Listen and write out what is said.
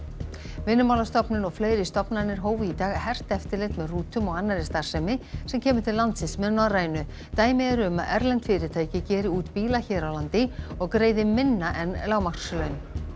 Vinnumálastofnun og fleiri stofnanir hófu í dag hert eftirlit með rútum og annarri starfsemi sem kemur til landsins með Norrænu dæmi eru um að erlend fyrirtæki geri út bíla hér á landi og greiði minna en lágmarkslaun